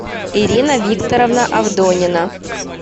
ирина викторовна авдонина